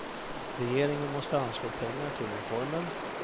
Regeringen måste anslå pengar till reformen.